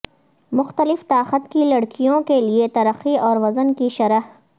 مختلف طاقت کی لڑکیوں کے لئے ترقی اور وزن کی شرح